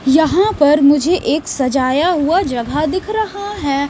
यहाँ पर मुझे एक सजाया हुआ जगह दिख रहा है।